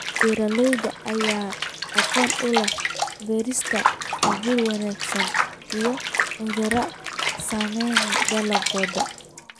Beeralayda ayaa aqoon u leh beerista abuur wanaagsan, iyo cudurrada saameeya dalagyadooda.